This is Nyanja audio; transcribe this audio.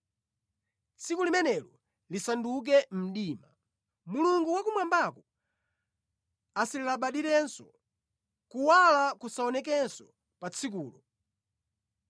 Tsiku limenelo lisanduke mdima; Mulungu wa kumwambako asalilabadirenso; kuwala kusaonekenso pa tsikulo.